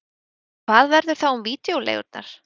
En hvað verður þá um vídeóleigurnar?